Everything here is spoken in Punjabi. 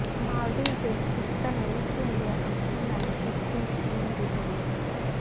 ਮਾਲਦੀਵ ਦੇ ਸਪੀਕਰ ਨੇ ਈਸਟ ਇੰਡੀਆ ਕੰਪਨੀ ਨਾਲ ਕੀਤੀ ਚੀਨ ਦੀ ਤੁਲਨਾ